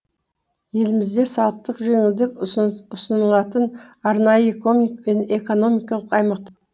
елімізде салықтық жеңілдік ұсынылатын арнайы экономикалық аймақ